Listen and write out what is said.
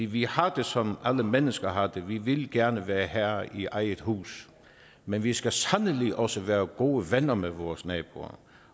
vi har det som alle mennesker har det vi vil gerne være herre i eget hus men vi skal sandelig også være gode venner med vores naboer